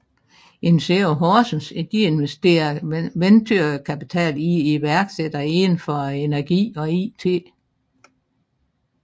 Insero Horsens investerer venturekapital i iværksættere inden for energi og IT